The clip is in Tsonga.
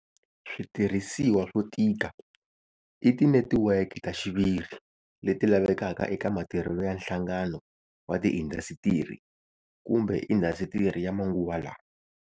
Switirhisiwa swo tika i tinetiweki ta xiviri leti lavekaka eka matirhelo ya nhlangano wa tiindasitiri kumbe indasitiri ya manguva lawa.